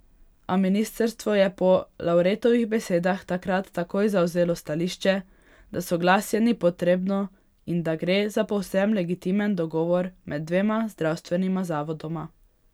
A ministrstvo je po Lavretovih besedah takrat takoj zavzelo stališče, da soglasje ni potrebno in da gre za povsem legitimen dogovor med dvema zdravstvenima zavodoma.